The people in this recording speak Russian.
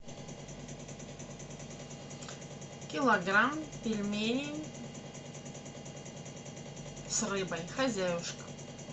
килограмм пельменей с рыбой хозяюшка